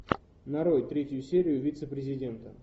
нарой третью серию вице президента